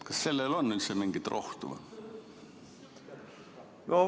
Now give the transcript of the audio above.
Kas sellele on üldse mingit rohtu?